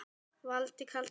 Valdi kaldi.